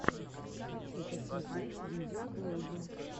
хочу посмотреть видеоблоги